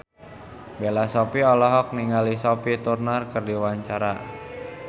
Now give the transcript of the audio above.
Bella Shofie olohok ningali Sophie Turner keur diwawancara